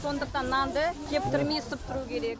сондықтан нанды кептірмей ысып тұру керек